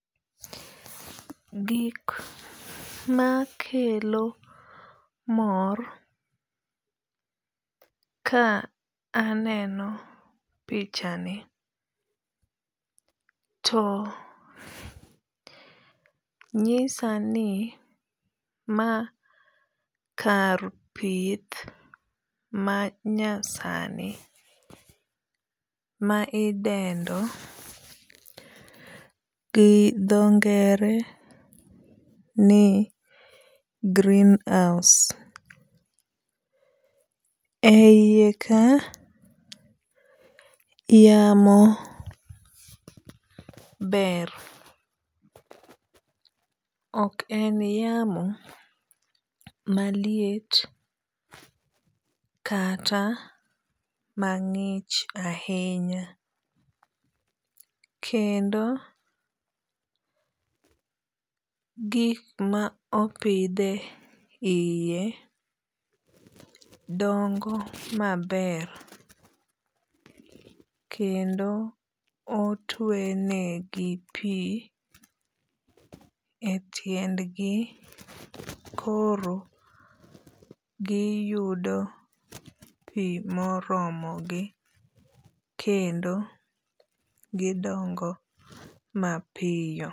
Gik makelo mor ka aneno pichani to nyisa ni ma kar pith ma nyasani ma idendo gi dho ngere ni greenhouse. E yie ka yamo ber. Ok en yamo maliet kata mang'ich ahinya. Kendo gik ma opidhe yie dongo maber kendo otwe negi pi e tiendgi koro giyudo pi moromo gi kendo gidongo mapiyo.